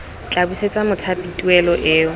tla busetsa mothapi tuelo eo